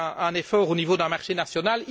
C'est un effort au niveau d'un marché national.